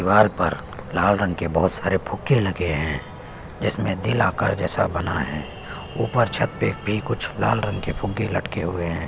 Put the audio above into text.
दीवार पर लाल रंग के बहोत सारे फुग्गे लगे है जिसमे दिल आकार जैसा बना है ऊपर छत पे भी कुछ लाल रंग के भी फुग्गे लटके हुए है।